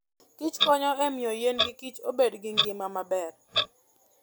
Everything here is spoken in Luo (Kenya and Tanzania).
kich konyo e miyo yien gi kich obed gi ngima maber.